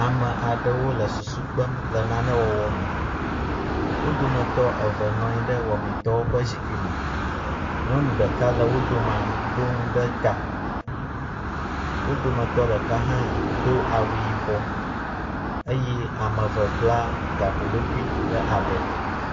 Ame aɖewo wo le susu kpem le nane wɔwɔ me. wo dometɔ eve nɔ anyi ɖe wɔmetɔwo ƒe zikpui me. Nyɔnu ɖeka le wo domea ɖo nu ɖe ta. Wo dometɔ ɖeka hã do awu yibɔ eye ame eve bla gaƒoɖokui ɖe abɔ.